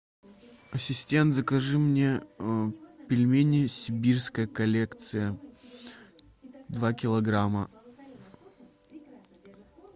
ассистент закажи мне пельмени сибирская коллекция два килограмма